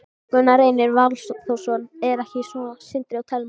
Gunnar Reynir Valþórsson: Er ekki svo, Sindri og Telma?